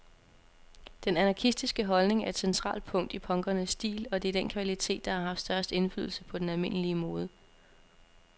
Den anarkistiske holdning er et centralt punkt i punkernes stil, og det er den kvalitet, der har haft størst indflydelse på den almindelige mode.